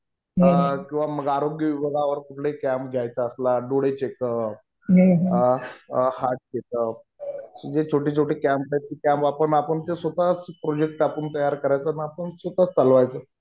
किंवा मग आरोग्य विभागावर कुठलाही कॅम्प घ्यायचा असेल. आपला डोळे चेकअप, हार्ट चेकअप जे छोटे छोटे कॅम्प आहेत. ते कॅम्प टाकून आपण स्वतःच प्रोजेक्ट टाकून तयार करायचा आणि आपण स्वतःच चालवायचं.